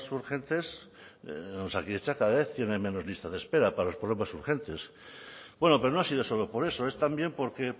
urgentes en osakidetza cada vez tienen menos lista de espera para los problemas urgentes bueno pero no ha sido solo por eso es también porque